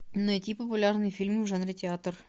найти популярные фильмы в жанре театр